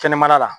Kɛnɛmala la